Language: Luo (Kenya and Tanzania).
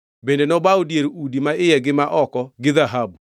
Bende nobawo dier udi maiye gi ma oko gi dhahabu.